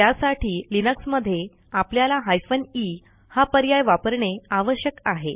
त्यासाठी लिनक्स मध्ये आपल्याला हायफेन ई हा पर्याय वापरणे आवश्यक आहे